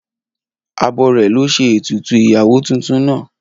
Abọrẹ̀ lo ṣe ètùtù ìyàwó tuntun naa.